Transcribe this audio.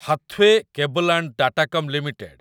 Hathway Cable and Datacom limited